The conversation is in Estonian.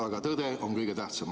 Aga tõde on kõige tähtsam.